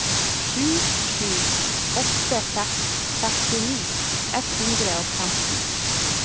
sju sju åtte seks sekstini ett hundre og femten